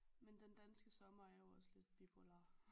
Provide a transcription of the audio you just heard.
Men den danske sommer er jo også lidt bipolar